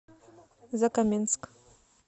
закаменск